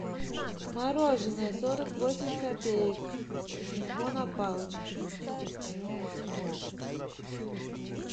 мороженое сорок восемь копеек эскимо на палочке